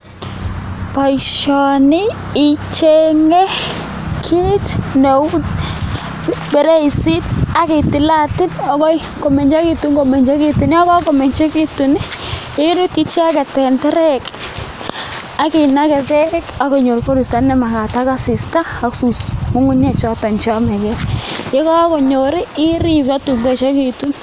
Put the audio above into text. Boisioni ichenge kiit neu feresit ak kitilatil akoi komengekitu, yon kaketil komengechitun iruti icheket eng teret ak inake beek ako konyor koristo nemakat ak asista ak ngungunyek choto cheyamakei, ye kakonyor irip akoi tuun koekekitu.